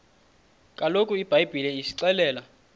kaloku ibhayibhile isixelela